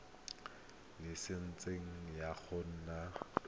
ntshwafatsa laesense ya go nna